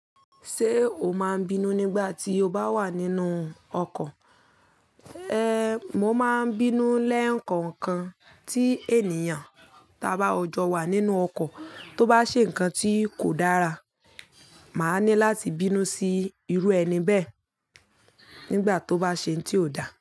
Ṣé o máa bínú nígbà tí o bá wà nínú ọkọ̀? Ehn, mo máa ń bínú lẹ́ǹkan kan tí ènìyàn ta bá ọjọ́ wà nínú ọkọ̀, tó bá ṣe nǹkan tí kò dára, màá ní láti bínú sí irú ẹni bẹ́ẹ̀ nígbà tó bá ṣe nǹ tí ò dáa.